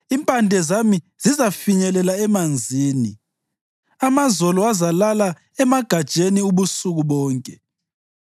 Impande zami zizafinyelela emanzini, amazolo azalala emagatsheni ubusuku bonke.